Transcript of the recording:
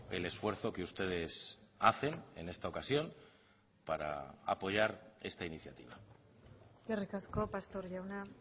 el esfuerzo que ustedes hacen en esta ocasión para apoyar esta iniciativa eskerrik asko pastor jauna